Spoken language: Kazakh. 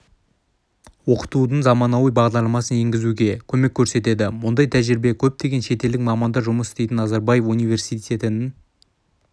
оқытудың заманауи бағдарламасын енгізуге көмек көрсетеді мұндай тәжірибе көптеген шетелдік мамандар жұмыс істейтін назарбаев университетінің